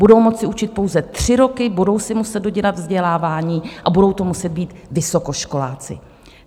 Budou moci učit pouze tři roky, budou si muset dodělat vzdělávání a budou to muset být vysokoškoláci.